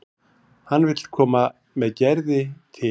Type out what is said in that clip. Hann vill koma með Gerði til